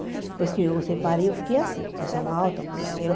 Depois que eu separei, eu fiquei assim, com pressão alta, colesterol.